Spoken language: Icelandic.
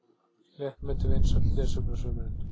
Léttmeti vinsælt lesefni á sumrin